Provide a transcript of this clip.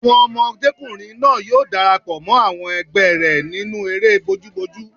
Ọmọdékùnrin náà yóò darapọ̀ mọ́ àwọn ẹgbẹ́ rẹ̀ nínú eré bojúbojú